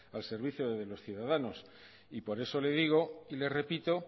al servicio de los ciudadanos y por eso le digo y le repito